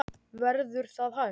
Verður það hægt?